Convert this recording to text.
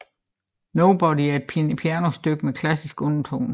Nobody er et pianostykke med klassiske undertoner